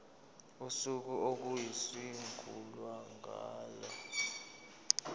usuku okuyosungulwa ngalo